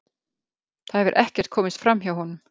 Það hefur ekkert komist framhjá honum.